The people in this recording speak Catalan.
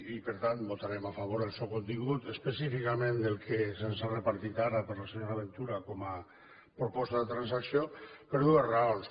i per tant votarem a favor del seu contingut específicament del que se’ns ha repartit ara per la senyora ventura com a proposta de transacció per dues raons